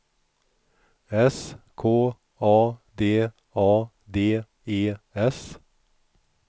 S K A D A D E S